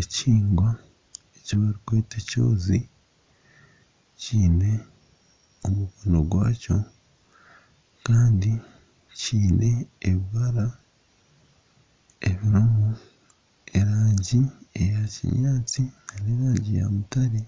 Ekihingwa eki barikweta ekyozi kiine omukono gwakyo kandi kiine ebibara erangi eya kinyaatsi n'erangi ya mutare